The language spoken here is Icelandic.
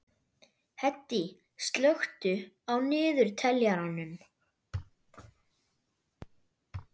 Hedí, slökktu á niðurteljaranum.